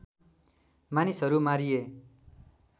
मानिसहरू मारिए